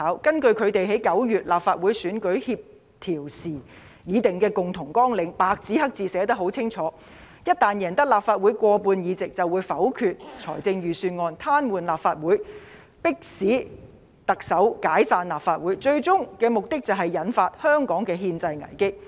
根據他們為9月立法會選舉協調時已定的共同綱領，白紙黑字寫得十分清楚，一旦贏得立法會過半數議席，便會否決預算案，癱瘓立法會，迫使特首解散立法會，最終目的是引發香港的憲制危機。